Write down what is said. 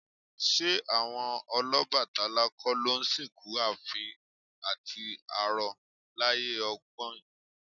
Ṣé àwọn Ọlọ́bàtálá kọ́ ló ń sìnkú àfín àti arọ láyé ọgbọ́in?